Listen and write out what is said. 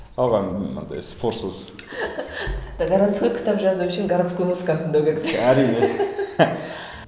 қалғаны ы мынындай спорсыз городской кітап жазу үшін городской музыканы тыңдау керек де әрине